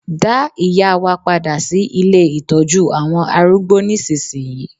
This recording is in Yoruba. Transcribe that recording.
Dá ìyá wa padà sí ilé Ìtọ́jú àwọn arúgbó nísinsìnyí.